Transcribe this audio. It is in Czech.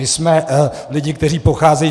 My jsme lidé, kteří pocházejí...